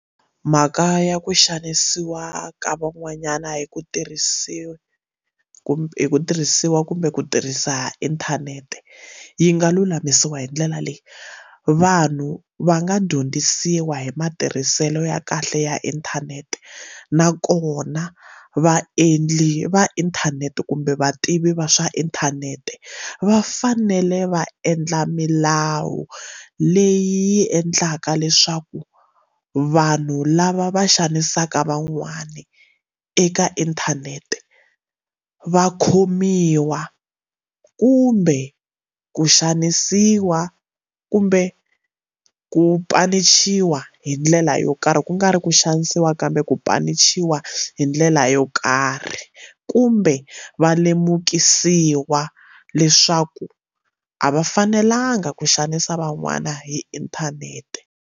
Mhaka ya ku xanisiwa ka van'wanyana hi ku tirhisiwa hi ku tirhisiwa kumbe ku tirhisa inthanete yi nga lulamisiwa hi ndlela leyi vanhu va nga dyondzisiwa hi matirhiselo ya kahle ya inthanete nakona vaendli va inthanete kumbe vativi va swa inthanete va fanele va endla milawu leyi yi endlaka leswaku vanhu lava va xanisaka van'wani eka inthanete va khomiwa kumbe ku xanisiwa kumbe ku panichiwa hi ndlela yo karhi ku nga ri ku xanisiwa kambe ku panichiwa hi ndlela yo karhi kumbe va lemukisiwa leswaku a va fanelanga ku xanisa van'wana hi inthanete.